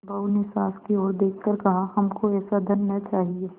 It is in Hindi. बहू ने सास की ओर देख कर कहाहमको ऐसा धन न चाहिए